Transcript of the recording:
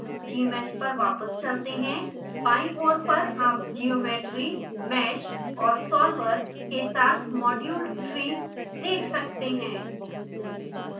gmsh पर वापस चलते हैं बाईं ओर पर आप geometry mesh और solver के साथ module tree देख सकते हैं